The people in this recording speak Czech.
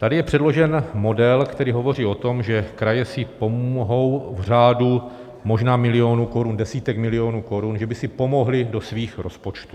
Tady je předložen model, který hovoří o tom, že kraje si pomohou v řádu možná milionů korun, desítek milionů korun, že by si pomohly do svých rozpočtů.